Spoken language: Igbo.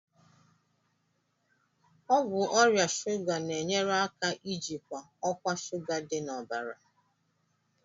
Ọgwụ ọrịa shuga na-enyere aka ijikwa ọkwa shuga dị n'ọbara.